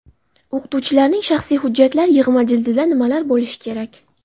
O‘qituvchilarning shaxsiy hujjatlar yig‘ma jildida nimalar bo‘lishi kerak?.